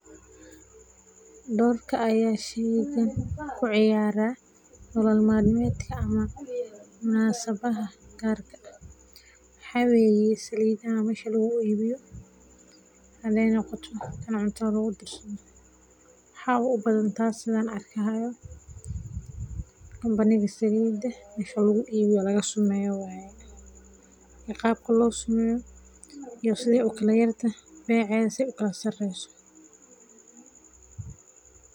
Dorkaa aya sheygan ka ciyaaraa nolol maalmeedka ama munaasabadha gaarka ah, waxaa weye salidaha meesha lagu ibiiyo, hade noqoto taan cuntada lagu darsadho waxaba u badan tass saan ba arkahayo, company ga siliida, mesha lagu ibiyo lagu sumeyo waye, qaabka losumeyo iyo sithi u kala yartah beceda sithee o kala sareso.